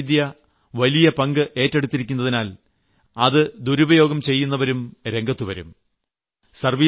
അങ്ങനെ സാങ്കേതികത വലിയ പങ്ക് ഏറ്റെടുത്തിരിക്കുന്നതിനാൽ അത് ദുരുപയോഗം ചെയ്യുന്നവരും രംഗത്തു വരും